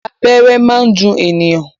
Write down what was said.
Abẹ́rẹ́ máa ń dùn ènìyàn.